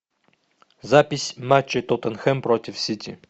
запись матча тоттенхэм против сити